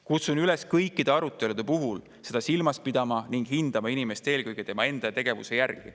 Kutsun üles kõikide arutelude puhul seda silmas pidama ning hindama inimest eelkõige tema enda tegevuse järgi.